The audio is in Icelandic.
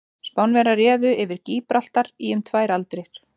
Spánverjar réðu yfir Gíbraltar í um tvær aldir.